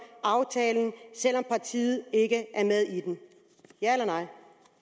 aftalen selv om partiet ikke er med i den ja eller nej